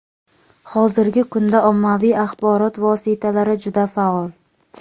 Hozirgi kunda ommaviy axborot vositalari juda faol.